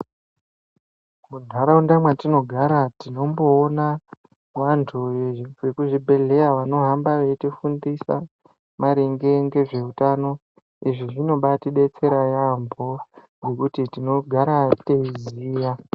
Mundaraunda mwatinogara tinomboona vantu vekuzvibhedhleya vanohamba veitifundisa maringe ngezveutano izvi zvinobaa tidetsera yeamho ngokuti tinogara teiziya.